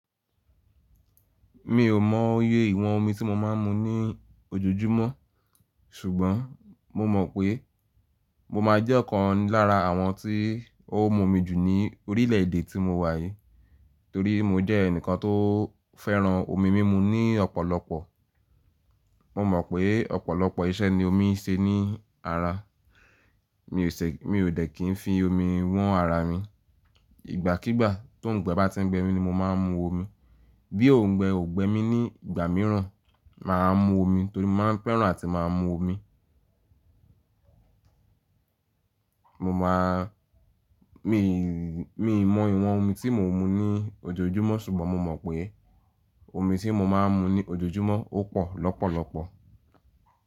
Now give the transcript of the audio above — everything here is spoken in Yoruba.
Mi ò mọ iye ìwọ̀n omi tí mo máa ń mu ní ojoojúmọ́ ṣùgbọ́n mo mọ̀ pé mo máa jẹ́ ọ̀kan lára àwọn tí ó ń mu omi jù ní orílẹ̀ èdè tí mo wà yìí, torí mo jẹ́ ẹnìkan tó fẹ́ràn omi mímu ní ọ̀pọ̀lọpọ̀. Mo mọ̀ pé ọ̀pọ̀lọpọ̀ iṣẹ́ ni omi ń ṣe ní ara. Mi ò ṣe, mi ò dẹ̀ kí n fi omi wọn ara mi. Ìgbàkígbà tó ń gbẹ bá ti ń gbẹ mi ni mo máa ń mu omi. Bí òǹgbẹ ò gbẹ mí ní ìgbà mìíràn, mà á mu omi torí mo máa ń fẹ́ràn àti máa mu omi. Mo mọ̀ a mi, mi mọ ìwọ̀n omi tí mo ń mu ní ojoojúmọ́ ṣùgbọ́n mo mọ̀ pé omi tí mo máa ń mu ní ojoojúmọ́ ó pọ̀ lọ́pọ̀lọpọ̀.